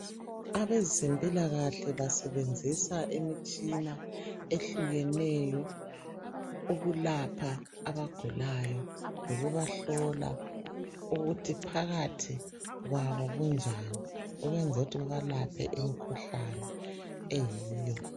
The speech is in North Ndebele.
Abezempilakahle basebenzisa imitshina ehlukeneyo ukulapha abagulayo lokubahlola ukuthi phakathi kwabo kunjani ukwenzela ukuthi babalaphe imikhuhlane eyiyo.